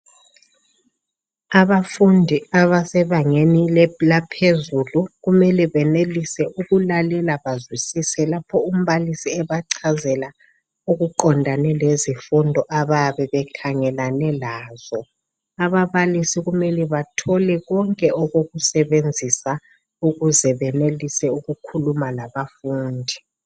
Abafundi abasebangeni laphezulu kumele benelise ukulalela bazwisise lapho umbalisi ebachazela okuqondane lezifundo abayabe bekhangelane lazo. Ababalisi kumele bathole konke okokusebenzisa ukuze benelise ukukhuluma labafundi.